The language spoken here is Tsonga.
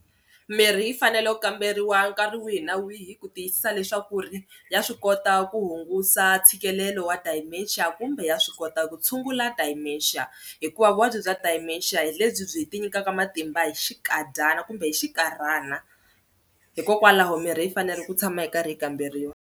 Mirhi yi fanele ku kamberiwa nkarhi wihi na wihi ku tiyisisa leswaku ri ya swi kota ku hungusa ntshikelelo wa dementia kumbe ya swi kota ku tshungula dementia hikuva vuvabyi bya dementia hi lebyi ti nyikaka matimba hi xikadyana kumbe hi xinkarhana hikokwalaho mirhi yi fanele ku tshama yi karhi yi kamberiwa.